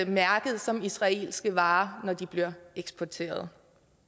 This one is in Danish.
mærket som israelske varer når de bliver eksporteret